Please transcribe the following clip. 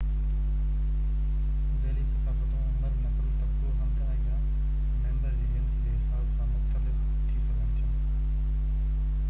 ذيلي ثقافتون عمر، نسل، طبقو، هنڌ، ۽/يا ميمبرن جي جنس جي حساب سان مختلف ٿي سگهن ٿا